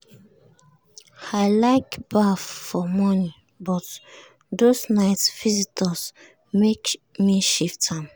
i like baff for morning but those night visitors make me shift am.